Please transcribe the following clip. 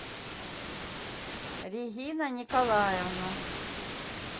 регина николаевна